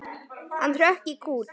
Hann hrökk í kút.